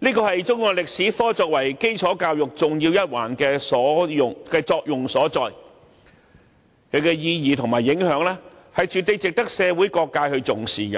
這是中史科作為基礎教育重要一環的作用所在，其意義和影響絕對值得社會各界重視。